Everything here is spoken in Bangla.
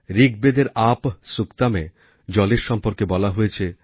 ঋকবেদের আপঃ সুক্তমএ জলের সম্বন্ধে বলা হয়েছে যে